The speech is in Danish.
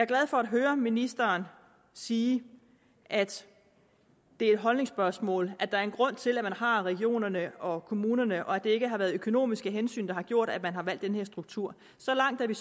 glad for at høre ministeren sige at det er et holdningsspørgsmål at der er en grund til at man har regionerne og kommunerne og at det ikke har været økonomiske hensyn der har gjort at man har valgt den her struktur så langt er